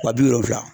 Wa bi wolonfila